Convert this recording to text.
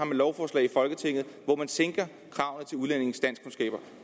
lovforslag i folketinget hvor man sænker kravene til udlændinges danskkundskaber